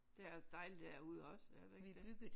Der er altså dejligt derude også er der ikke det?